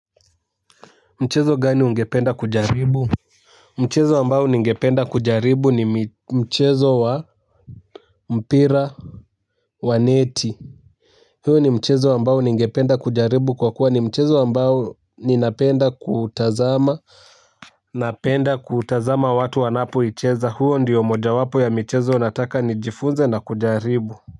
Mchezo gani ungependa kujaribu? Mchezo ambao ningependa kujaribu ni mchezo wa mpira wa neti. Hio ni mchezo ambao ningependa kujaribu kwa kuwa ni mchezo ambao ninapenda kutazama. Napenda kutazama watu wanapoicheza huwo ndiyo moja wapo ya mchezo nataka nijifunze na kujaribu.